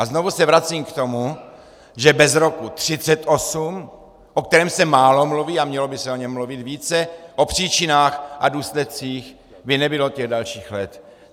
A znovu se vracím k tomu, že bez roku 1938, o kterém se málo mluví, a mělo by se o něm mluvit více, o příčinách a důsledcích, by nebylo těch dalších let.